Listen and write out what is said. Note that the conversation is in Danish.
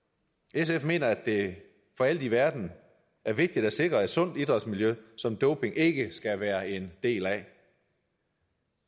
sf mener at det for alt i verden er vigtigt at sikre et sundt idrætsmiljø som doping ikke skal være en del af